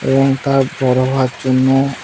এবং তার বড় হওয়ার জন্য--